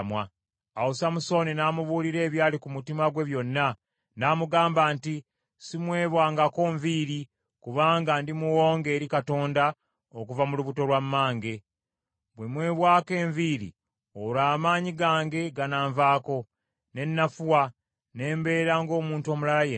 Awo Samusooni n’amubuulira ebyali ku mutima gwe byonna. N’amugamba nti, “Simwebwangako nviiri, kubanga ndi muwonge eri Katonda okuva mu lubuto lwa mmange. Bwe mwebwako enviiri, olwo amaanyi gange gananvaako, ne nnafuwa, ne mbeera ng’omuntu omulala yenna.”